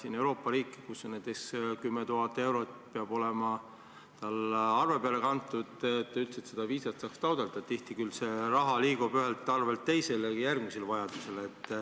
On Euroopa riike, kus peab arve peal olema näiteks 10 000 eurot, et üldse viisat saaks taotleda – kuigi tihti liigub see raha vajaduse korral ühelt arvelt teisele.